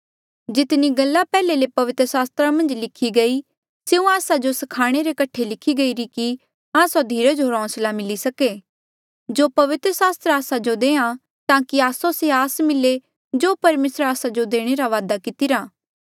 जितनी गल्ला पैहले ले पवित्र सास्त्रा मन्झ लिखी गई स्यों आस्सा जो स्खाणे रे कठे ई लिखी गईरी कि आस्सो धीरज होर होंसला मिली सके जो पवित्र सास्त्र आस्सो देआ ताकि आस्सो से आस मिले जो परमेसरे आस्सा जो देणे रा वादा कितिरा